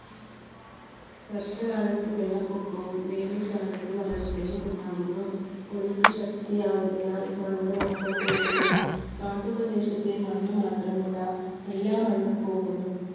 വർഷ കാലത്ത് വെള്ളപ്പൊക്കവും വേനൽക്കാലത്ത് വരൾച്ചയും ഉണ്ടാകുന്നു. ഒഴുക്ക് ശക്തമായതിനാൽ മണ്ണും ഒപ്പം പോകുന്നു. കാട്ടുപ്രദേശത്തെ മണ്ണ് മാത്രമല്ല എല്ലാ മണ്ണും പോകുന്നു.